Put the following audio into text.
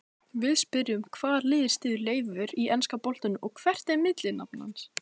Við spyrjum: Hvaða lið styður Leifur í enska boltanum og hvert er millinafn hans?